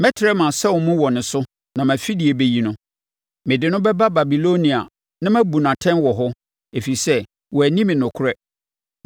Mɛtrɛ mʼasau mu wɔ ne so na mʼafidie bɛyi no. Mede no bɛba Babilonia na mabu no atɛn wɔ hɔ, ɛfiri sɛ wanni me nokorɛ.